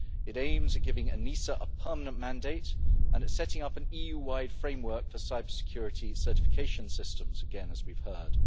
It aims at giving ENISA a permanent mandate and it is setting up an EU wide framework for cybersecurity certification systems, again as we have heard.